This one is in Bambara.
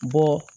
Bɔ